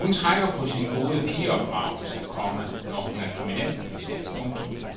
Hun trækker på sin gode pigeopdragelse, komma når hun er kriminalkommissær. punktum